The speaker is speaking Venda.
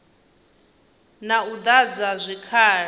na u ḓadzwa ha zwikhala